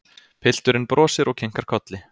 Pilturinn brosir og kinkar kolli.